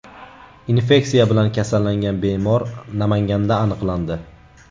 Infeksiya bilan kasallangan bemor Namanganda aniqlandi.